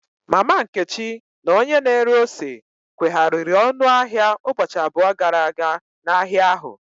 Mama Nkechi na onye na ere ose kwehariri ọnụ ahịa ụbọchị abụọ gara aga n'ahịa ahụ.